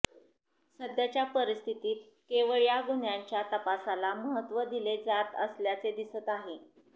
सध्याच्या परिस्थितीत केवळ या गुन्ह्यांच्या तपासाला महत्त्व दिले जात असल्याचे दिसत आहे